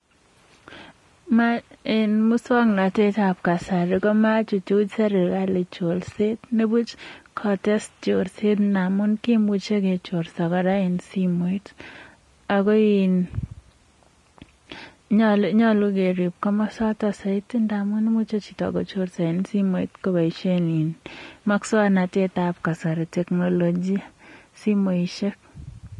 Musong'natet ab kasari komachuchuch serikali chorset. Nebuch kotes chorset, namun kimuchei kechorsa ra eng simoit. ako in nyalu kerib komosatak saiti ndamun muchei chito kochorsa eng simoit koboishe musog'natet ab kasari technology simoishek.